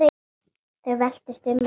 Þau veltust um af hlátri.